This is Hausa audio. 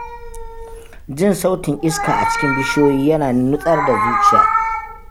Jin sautin iska a cikin bishiyoyi yana nutsar da zuciya.